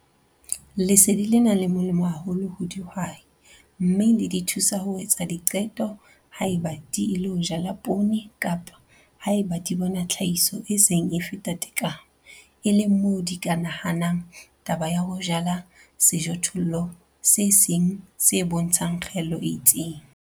Lesedi lena le molemo haholo ho dihwai, mme le di thusa ho etsa diqeto ha eba di ilo jala poone kapa, ha eba di bona tlhahiso e seng e feta tekano, e leng moo di ka nahanang taba ya ho jala sejothollo se seng, se bontshang kgaello e itseng.